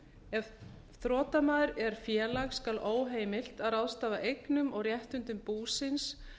ef þrotamaður er félag skal óheimilt að ráðstafa eignum og réttindum búsins